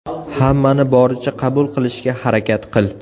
Hammani boricha qabul qilishga harakat qil.